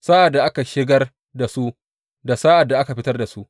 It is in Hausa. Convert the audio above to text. sa’ad da ake shigar da su da sa’ad da ake fitar da su.